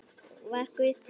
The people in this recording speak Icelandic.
Var Guð til?